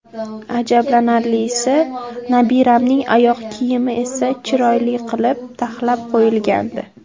Ajablanarlisi, nabiramning oyoq kiyimi esa chiroyli qilib, taxlab qo‘yilgandi.